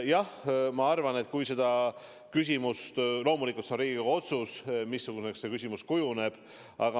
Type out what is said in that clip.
Jah, mis puutub sellesse küsimusse, siis loomulikult see on Riigikogu otsus, missuguseks see küsimus kujuneb.